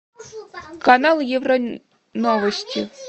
канал евро новости